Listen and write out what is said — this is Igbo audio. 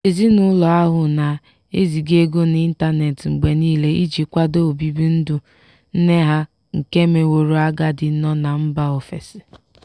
ezinụlọ ahụ na-eziga ego n'ịntanet mgbe niile iji kwado obibi ndụ nne ha nke meworo agadi nọ na mba ofesi.